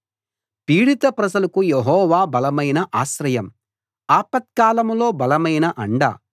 పీడిత ప్రజలకు యెహోవా బలమైన ఆశ్రయం ఆపత్కాలంలో బలమైన అండ